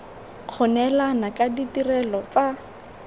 go neelana ka ditirelo tsa